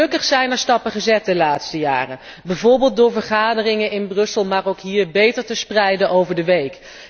En gelukkig zijn er stappen gezet de laatste jaren, bijvoorbeeld door vergaderingen in Brussel, maar ook hier, beter te spreiden over de week.